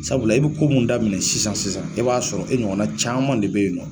Sabula i bɛ ko min daminɛ sisan sisan i b'a sɔrɔ e ɲɔgɔnna caman de bɛ yen nɔ